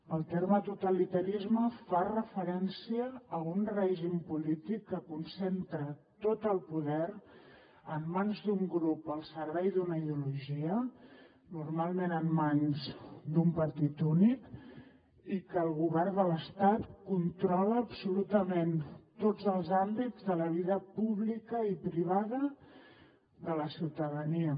el terme totalitarisme fa referència a un règim polític que concentra tot el poder en mans d’un grup al servei d’una ideologia normalment en mans d’un partit únic i que el govern de l’estat controla absolutament tots els àmbits de la vida pública i privada de la ciutadania